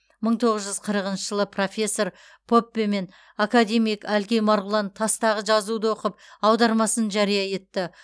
мың тоғыз жүз қырқыншы жылы профессор поппе мен академик әлкей марғұлан тастағы жазуды оқып аудармасын жария етті